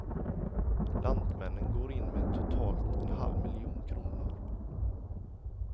Lantmännen går in med totalt en halv miljon kronor.